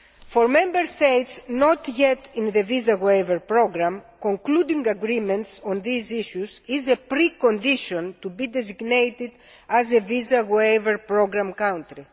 For Member States not yet in the Visa Waiver Programme, concluding agreements on these issues is a pre condition to be designated as a Visa Waiver Programme country.